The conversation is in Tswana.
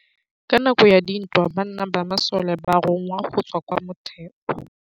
Ka nakô ya dintwa banna ba masole ba rongwa go tswa kwa mothêô.